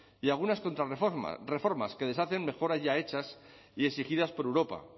y algunas contrarreformas que deshacen mejoras ya hechas y exigidas por europa